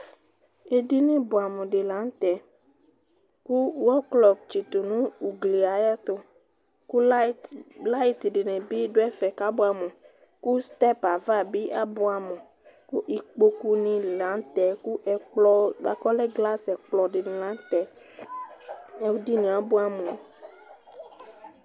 Edini bʋɛamʋ dɩ la nʋ tɛ kʋ wɔklɔ tsɩtʋ nʋ ugli yɛ ayɛtʋ kʋ layɩt, layɩt dɩnɩ bɩ dʋ ɛfɛ kʋ abʋɛamʋ kʋ stɛp ava bɩ abʋɛamʋ kʋ ikpokunɩ la nʋ tɛ kʋ ɛkplɔ bʋa kʋ ɔlɛ glasɩ ɛkplɔ dɩnɩ la nʋ tɛ Edini yɛ abʋɛamʋ